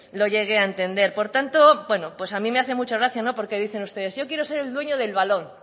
lo llegué a entender por tanto a mí me hace mucha gracia porque dicen ustedes yo quiero ser el dueño del balón